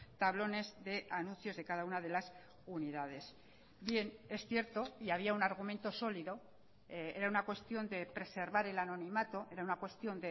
tablones de anuncios de cada una de las unidades bien es cierto y había un argumento sólido era una cuestión de preservar el anonimato era una cuestión